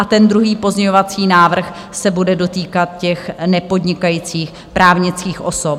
A ten druhý pozměňovací návrh se bude dotýkat těch nepodnikajících právnických osob.